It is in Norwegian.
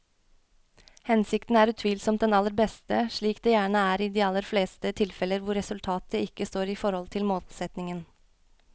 Hensikten er utvilsomt den aller beste, slik det gjerne er i de aller fleste tilfeller hvor resultatet ikke står i forhold til målsetningen.